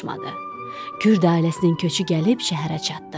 Kürd ailəsinin köçü gəlib şəhərə çatdı.